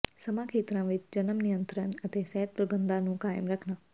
ਸਮਾਂ ਖੇਤਰਾਂ ਵਿੱਚ ਜਨਮ ਨਿਯੰਤਰਣ ਅਤੇ ਸਿਹਤ ਪ੍ਰਬੰਧਾਂ ਨੂੰ ਕਾਇਮ ਰੱਖਣਾ